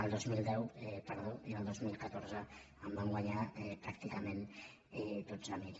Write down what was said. el dos mil deu perdó i el dos mil catorze en van guanyar pràctica·ment dotze mil